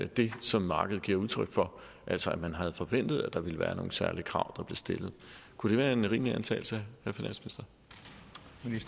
det som markedet giver udtryk for altså at man havde forventet at der ville være nogle særlige krav der blev stillet kunne det være en rimelig antagelse